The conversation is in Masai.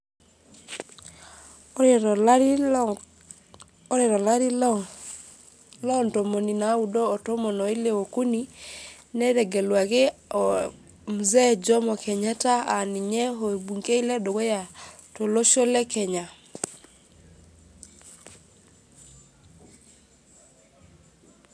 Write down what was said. Ore tolari lo ore tolari lo ntomoni naudo otomon oile okuni netegeluaki o mzee jomo kenyata aa ninye orbungei ledukuya tolosho le kenya.